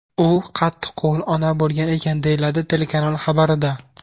U qattiqqo‘l ona bo‘lgan ekan”, deyiladi telekanal xabarida.